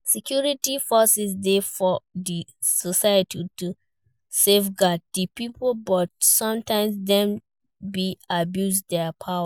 Security forces de for di society to safeguard di pipo but sometimes Dem de abuse their power